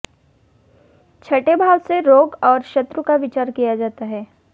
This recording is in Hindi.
छठे भाव से रोग और शत्रु का विचार किया जाता है